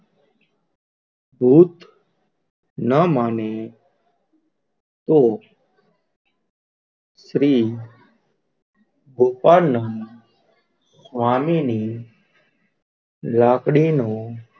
ભૂત ના મને તો શ્રી ગોપાલ નંદ સ્વામી ની લાકડી નું,